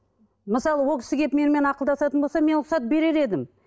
мысалы ол кісі келіп менімен ақылдасатын болса мен рұқсат берер едім